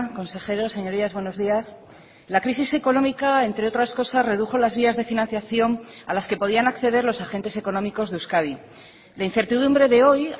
consejeros señorías buenos días la crisis económica entre otras cosas redujo las vías de financiación a las que podían acceder los agentes económicos de euskadi la incertidumbre de hoy